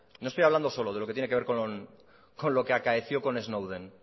no estoy hablando solo de lo que tiene que ver con lo que acaeció con snowden